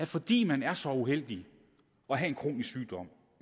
fordi man er så uheldig at have en kronisk sygdom